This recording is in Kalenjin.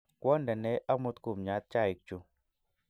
Kwondene amut kumnyat chaikchu